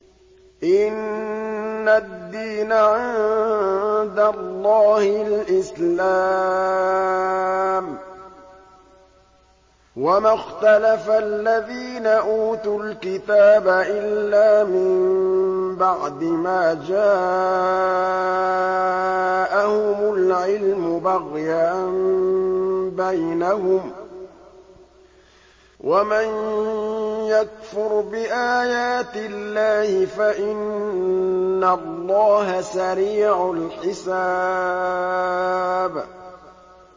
إِنَّ الدِّينَ عِندَ اللَّهِ الْإِسْلَامُ ۗ وَمَا اخْتَلَفَ الَّذِينَ أُوتُوا الْكِتَابَ إِلَّا مِن بَعْدِ مَا جَاءَهُمُ الْعِلْمُ بَغْيًا بَيْنَهُمْ ۗ وَمَن يَكْفُرْ بِآيَاتِ اللَّهِ فَإِنَّ اللَّهَ سَرِيعُ الْحِسَابِ